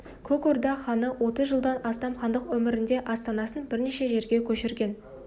көк орда ханы отыз жылдан астам хандық өмірінде астанасын бірнеше жерге көшірген